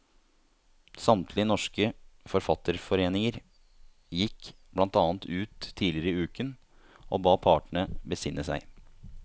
Samtlige norske forfatterforeninger gikk blant annet ut tidligere i uken og ba partene besinne seg.